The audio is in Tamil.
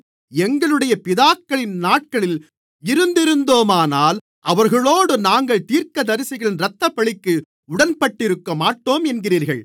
எங்களுடைய பிதாக்களின் நாட்களில் இருந்திருந்தோமானால் அவர்களோடு நாங்கள் தீர்க்கதரிசிகளின் இரத்தப்பழிக்கு உடன்பட்டிருக்கமாட்டோம் என்கிறீர்கள்